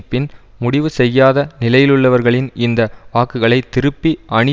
பின் முடிவு செய்யாத நிலையிலுள்ளவர்களின் இந்த வாக்குகளை திருப்பி அணி